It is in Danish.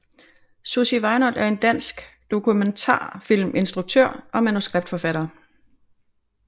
Sussie Weinold er en dansk dokumentarfilminstruktør og manuskriptforfatter